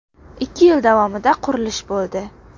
Ikki yil davomida qurilish bo‘ldi.